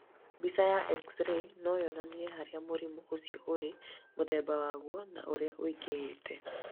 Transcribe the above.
Mbica ya X-ray no yonanie harĩa mũrimũ ũcio ũrĩ, mũthemba waguo, na ũrĩa ũingĩhĩte.